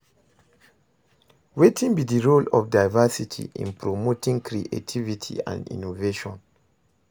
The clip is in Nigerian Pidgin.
Wetin be di role of diversity in promoting creativity and innovation?